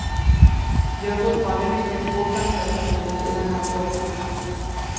Vi har fortfarande mycket få fakta på bordet i den här frågan.